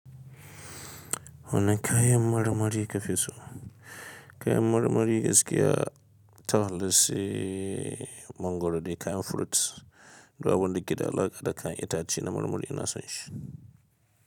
Wanne kayan marmari ka fi so? Kayan marmari gaskiya to se mangoro dai kayan fruits, duk abun da ke da alaƙa da kayan itace na marmari ina son shi.